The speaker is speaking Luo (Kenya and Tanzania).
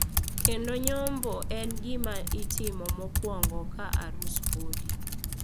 Kendo nyombo en gima itimo mokwongo ka arus podi.